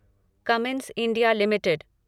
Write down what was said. Cummins India limited